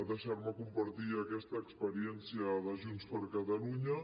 deixar me compartir aquesta experiència de junts per catalunya